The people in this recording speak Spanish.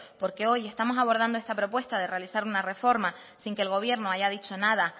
porque hoy estamos abordando esta propuesta de realizar una reforma sin que el gobierno haya dicho nada